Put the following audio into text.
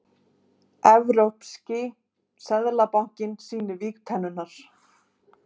Evrópski seðlabankinn sýnir vígtennurnar